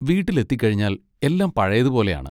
വീട്ടിലെത്തിക്കഴിഞ്ഞാൽ എല്ലാം പഴയതുപോലെയാണ്.